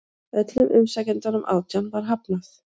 Öllum umsækjendunum átján var hafnað